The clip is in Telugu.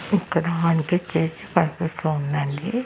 ఇక్కడ అనిపిచ్చేసి పర్ఫెక్ట్ గా ఉందండి.